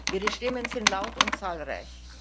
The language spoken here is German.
Ihre Stimmen sind laut und zahlreich.